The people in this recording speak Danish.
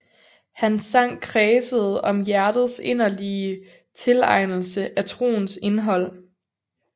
Hans sang kredsede om hjertets inderlige tilegnelse af troens indhold